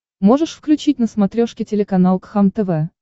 можешь включить на смотрешке телеканал кхлм тв